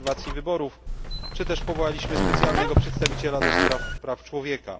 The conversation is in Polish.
obserwacji wyborów i powołaliśmy też specjalnego przedstawiciela do spraw praw człowieka.